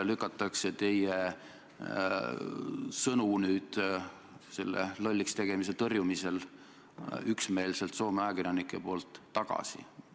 Soome ajakirjanikud lükkavad teie sõnu nüüd üksmeelselt selle lolliks tegemise tõrjumisel tagasi.